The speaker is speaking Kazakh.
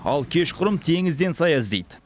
ал кешқұрым теңізден сая іздейді